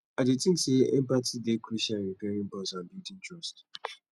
i dey think say empathy dey crucial in repairing bonds and building trust